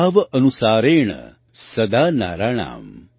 भाव अनुसारेण सदा नराणाम्